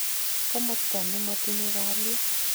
Komosto nemotinye kaliet.